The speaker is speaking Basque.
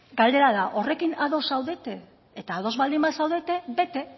galdera da horrekin ados zaudete eta ados baldin bazaudete bete